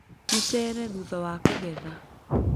Mũcere thutha wa kũgetha.